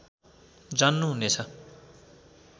जान्नु हुनेछ